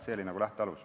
See oli lähtealus.